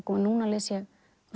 núna les ég